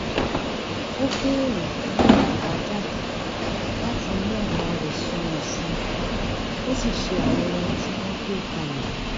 ó béèrè fún àbàjáde láti mú ọ̀nà rẹ̀ sunwọ̀n sí i kó sì ṣe àwọn ohun tí wọ́n gbé kalẹ̀